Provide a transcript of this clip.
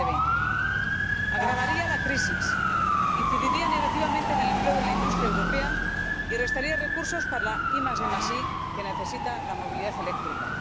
2020. Agravaría la crisis, incidiría negativamente en el empleo de la industria europea y restaría recursos para la IDi que necesita la movilidad eléctrica.